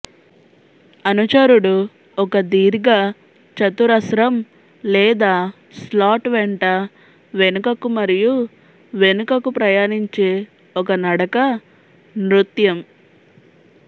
అనుచరుడు ఒక దీర్ఘ చతురస్రం లేదా స్లాట్ వెంట వెనుకకు మరియు వెనుకకు ప్రయాణించే ఒక నడక నృత్యం